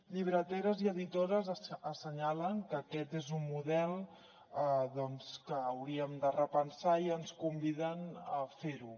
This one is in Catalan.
llibreteres i editores assenyalen que aquest és un model doncs que hauríem de repensar i ens conviden a fer ho